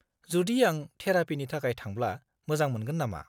जुदि आं थेरापिनि थाखाय थांब्ला मोजां मोनगोन नामा?